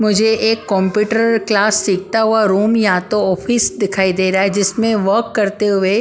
मुझे एक computer class सीखता हुआ रूम या तो ऑफिस दिखाई दे रहा है जिसमें वर्क करते हुए --